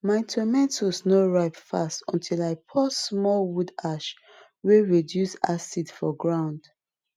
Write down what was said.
my tomato no ripe fast until i pour small wood ash wey reduce acid for ground